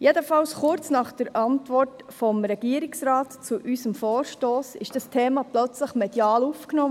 Jedenfalls haben die Medien das Thema kurz nach der Antwort des Regierungsrates auf unseren Vorstoss plötzlich aufgenommen.